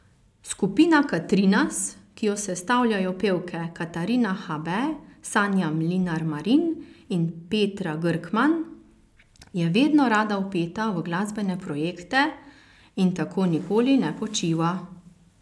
Skupina Katrinas, ki jo sestavljajo pevke Katarina Habe, Sanja Mlinar Marin in Petra Grkman, je vedno rada vpeta v glasbene projekte in tako nikoli ne počiva.